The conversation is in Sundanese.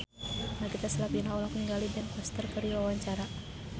Nagita Slavina olohok ningali Ben Foster keur diwawancara